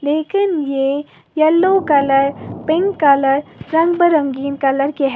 लेकिन ये yellow colour pink colour रंग बिरंगीन कलर के हैं।